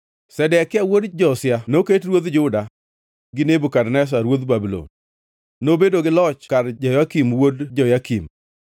Zedekia wuod Josia noket ruodh juda gi Nebukadneza ruodh Babulon; nobedo gi loch kar Jehoyakin wuod Jehoyakim.